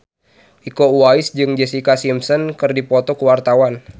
Iko Uwais jeung Jessica Simpson keur dipoto ku wartawan